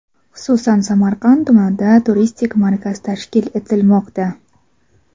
Xususan, Samarqand tumanida turistik markaz tashkil etilmoqda.